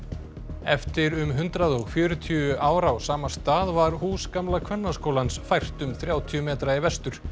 eftir um hundrað og fjörutíu ár á sama stað var hús gamla Kvennaskólans fært um þrjátíu metra í vestur